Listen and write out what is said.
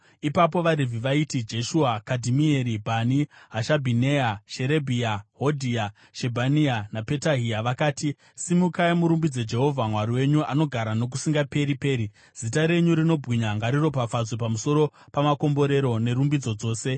Ipapo vaRevhi vaiti: Jeshua, Kadhimieri, Bhani, Hashabhineya, Sherebhia, Hodhia, Shebhania naPetahia vakati, “Simukai murumbidze Jehovha Mwari wenyu, anogara nokusingaperi-peri.” “Zita renyu rinobwinya ngariropafadzwe pamusoro pamakomborero nerumbidzo dzose.